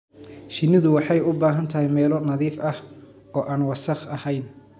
Shinnidu waxay u baahan tahay meelo nadiif ah oo aan wasakh ahayn.